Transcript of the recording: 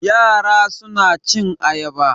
Yara suna cin ayaba.